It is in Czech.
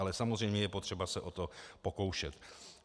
Ale samozřejmě je potřeba se o to pokoušet.